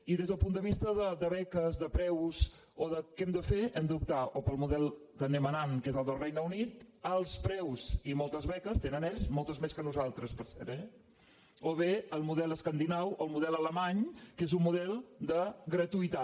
i des del punt de vista de beques de preus o de què hem de fer hem d’optar o pel model que anem anant que és el del regne unit alts preus i moltes beques tenen ells moltes més que nosaltres per cert eh o bé el model escandinau el model alemany que és un model de gratuïtat